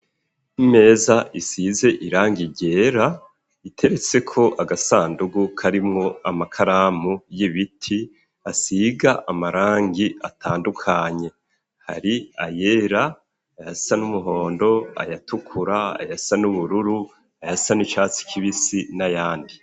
Imeza isize irangi ryera iteretseko agasandugu k'arimwo amakaramu y'ibiti asiga amarangi atandukanye, hari ayera ayasa n'umuhondo ayatukura ayasa n'ubururu ayasa n'icatsi kibisi n'ayandi.